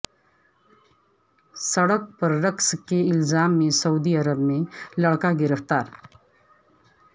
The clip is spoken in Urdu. سڑک پر رقص کے الزام میں سعودی عرب میں لڑکا گرفتار